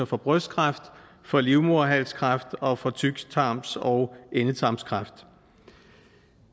for brystkræft for livmoderhalskræft og for tyktarms og endetarmskræft